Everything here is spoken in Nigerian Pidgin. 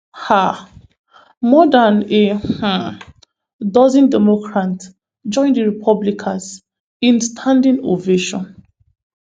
um more dan a um dozen democrants join di republicans in a standing ovation